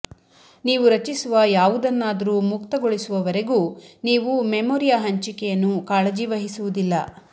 ನೀವು ರಚಿಸುವ ಯಾವುದನ್ನಾದರೂ ಮುಕ್ತಗೊಳಿಸುವವರೆಗೂ ನೀವು ಮೆಮೊರಿಯ ಹಂಚಿಕೆಯನ್ನು ಕಾಳಜಿ ವಹಿಸುವುದಿಲ್ಲ